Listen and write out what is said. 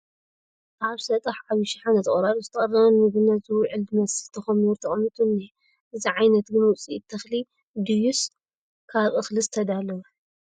ኣብ ሰጣሕ ዓብይ ሸሓነ ተቖራሪፁ ዝተቐረበ ንምግብነት ዝውዕ ዝመስል ተኾሚሩ ተቐሚጡ እንሄ ፡ እዚ ዓይነት ግን ውፅኢት ተኽሊ ድዩስ ካብ እኽሊ ዝተዳለወ ?